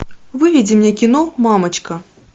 выведи мне кино мамочка